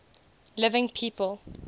living people